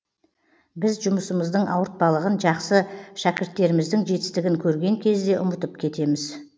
біз жұмысымыздың ауыртпалығын жақсы шәкірттеріміздің жетістігін көрген кезде ұмытып кетеміз